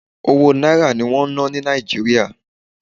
Owó Náírà ní wọ́n ń ná ní Nàìjíríà.